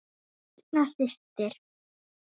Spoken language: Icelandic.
Birna systir.